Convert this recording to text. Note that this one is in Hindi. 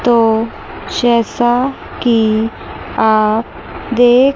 तो जैसा कि आप देख--